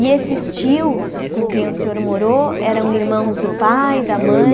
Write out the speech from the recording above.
E esses tios com quem o senhor morou eram irmãos do pai, da mãe?